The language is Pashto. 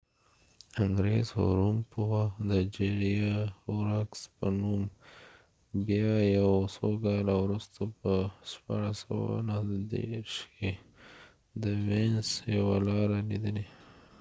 انګریز هوروم پوه د جیریا هوراکس په نوم بیا یو څو کاله وروسته په 1639کې د وینس یوه لاره ليدلي